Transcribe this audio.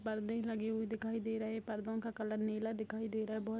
पर्दे लगे हुए दिखाई दे रहे हैं पर्दो का कलर नीला दिखाई दे रहा है बहुत --